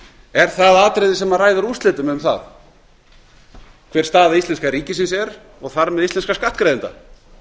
er það atriði sem ræður úrslitum um það hver staða íslenska ríkisins er og þar með íslenskra skattgreiðenda